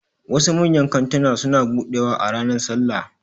Wasu manyan kantuna suna buɗewa a ranar sallah